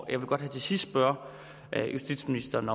jeg vil godt her til sidst spørge justitsministeren